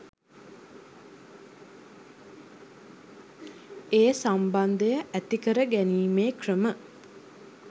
ඒ සම්බන්ධය ඇති කර ගැනීමේ ක්‍රම